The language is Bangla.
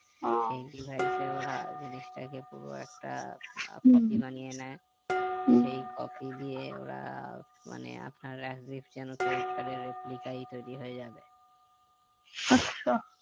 সেই device এ ওরা জিনিসটাকে পুরো একটা প্রতিমা নিয়ে নেই সেই copy দিয়ে ওরা মানে আপনার credit card এর replica তৌরি হয়ে যাবে